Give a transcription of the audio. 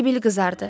Sibil qızardı.